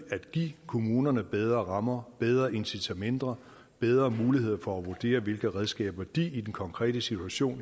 at give kommunerne bedre rammer bedre incitamenter bedre muligheder for at vurdere hvilke redskaber de i den konkrete situation